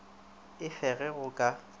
e fe ge go ka